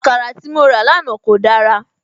Àkàrà tí mo rà lánàá kò dára